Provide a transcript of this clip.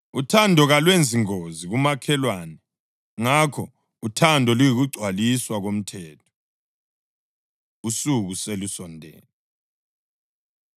Uthando kalwenzi ngozi kumakhelwane. Ngakho uthando luyikugcwaliswa komthetho. Usuku Selusondele